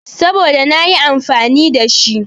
Saboda nayi amfani da shi.